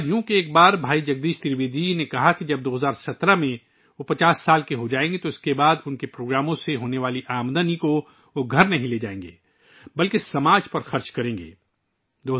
ہوا یوں کہ ایک بار بھائی جگدیش ترویدی جی نے کہا کہ جب وہ 2017 میں 50 سال کے ہو جائیں گے تو وہ اپنے پروگراموں سے ہونے والی آمدنی گھر نہیں لائیں گے، بلکہ سماج پر خرچ کریں گے